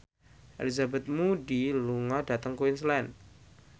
Elizabeth Moody lunga dhateng Queensland